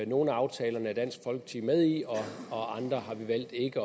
nogle af aftalerne er dansk folkeparti med i og andre har vi valgt ikke